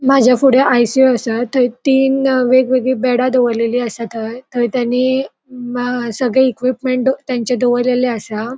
माझे फुड़े आय.सी.यू. असा थय तीन वेगवेगळी बेड़ा दोवोरलेली असा थंय थंय तानी म सगळी इक्विप्मन्ट तांचे दोवोरलेले असा.